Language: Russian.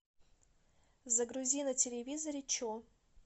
загрузи на телевизоре че